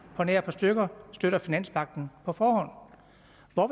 på nær et par stykker på støtter finanspagten hvorfor